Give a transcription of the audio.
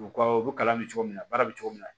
U ka u bɛ kalan kɛ cogo min na baara bɛ cogo min na